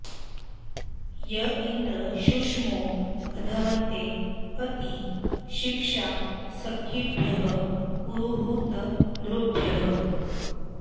य इन्द्र शुष्मो मघवन्ते अस्ति शिक्षा सखिभ्यः पुरुहूत नृभ्यः